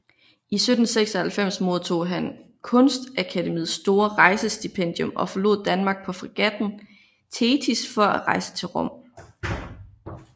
I 1796 modtog han Kunstakademiets store rejsestipendium og forlod Danmark på fregatten Thetis for at rejse til Rom